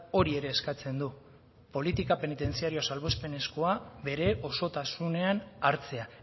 hori ere eskatzen du politika penitentziarioa salbuespenezkoa bere osotasunean hartzea